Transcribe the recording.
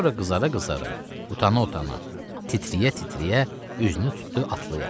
Sonra qızara-qızara, utana-utana, titrəyə-titrəyə üzünü tutdu atlıya.